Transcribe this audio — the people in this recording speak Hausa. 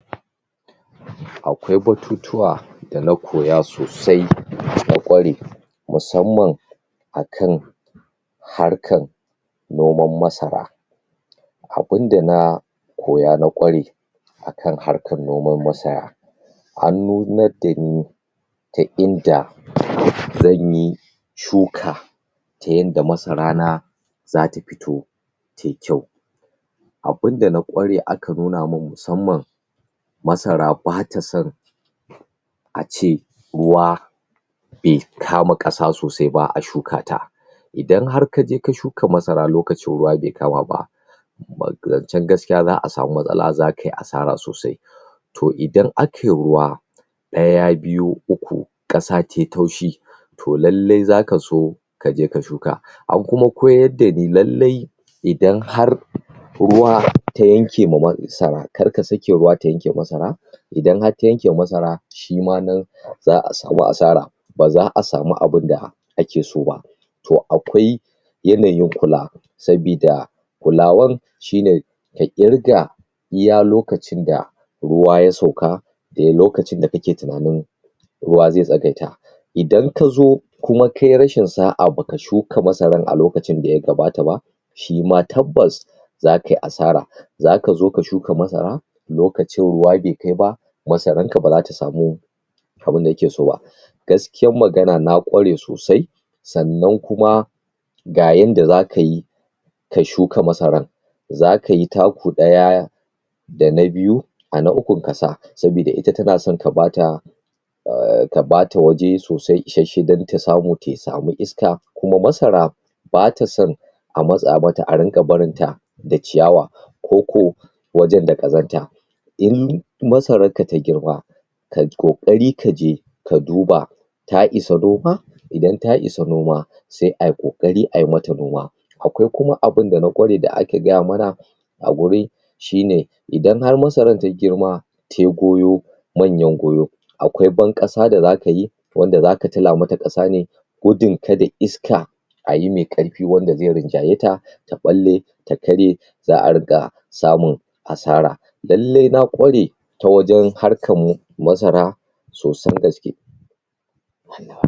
Akwai batutuwa da na koya sosai na ƙware musamman akan harkan noman masara abin da na koya na ƙware akan harkan noman masara an nunad da ni ta inda zan yi shuka ta yanda masarana za ta fito ta yi kyau abin da na ƙware aka nuna mun musamman masara ba ta san ace ruwa be kama ƙasa sosai ba a shuka ta idan har ka je ka shuka masara lokacin ruwa be kama ba um zancen gaskiya za a samu matsala zaka yi asara sosai to idan aka yi ruwa ɗaya biyu uku ƙasa tai taushi to lalle zaka so ka je ka shuka an kuma koyar da ni lallai idan har ruwa ta yanke ma masara kar ka sake ruwa ta yanke ma masara idan har ta yanke ma masara shi ma nan za a samu asara ba za a samu abin da ake so ba to akwai yanayin kula sabida kulawan shi ne ka ƙirga iya lokacin da ruwa ya sauka da loakcin da kake tunanin ruwa ze tsagaita idan ka zo kuma ka yi rashin sa'a ba ka shuka masaran a lokacin da ya kamata ba shi ma tabbas za kai asara zaka zo ka shuka masara lokacin ruwa be kai ba masaranka ba za ta samu abin da yake so gaskiyan magana na ƙware sosai sannan kuma ga yanda zaka yi ka shuka masaran zaka yi taku ɗaya dana biyu a na ukun ka sa sabida ita tana san ka ba ta um ka ba ta waje sosai ishasshe dan ta samu ta samu iska kuma masara ba ta san a matsa mata a rinƙa barin ta da ciyawa ko ko wajen da ƙazanta in masararka ta girma kai ƙokari ka je ka duba ta isa noma idan ta isa noma se ai ƙoƙari a yi mata noma akwai kuma abin dana ƙware da aka gaya mana a guri shi ne idan har masaran ta girma te goyo manyan goyo akwai ban-ƙasa da zaka yi wanda zaka tila mata ƙasa ne gudun kada iska a yi me ƙarfi wanda ze rinjaye ta ta ɓalle ta karye za a riƙa samun asara lallai na ƙware ta wajen harkan um masara sosan gaske?